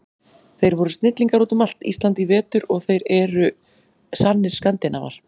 Þeir voru snillingar út um allt Ísland í vetur og þeir eru sannir Skandinavar.